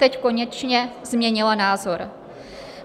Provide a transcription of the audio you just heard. Teď konečně změnila názor.